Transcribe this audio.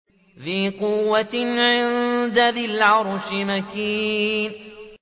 ذِي قُوَّةٍ عِندَ ذِي الْعَرْشِ مَكِينٍ